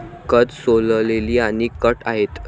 कंद सोललेली आणि कट आहेत.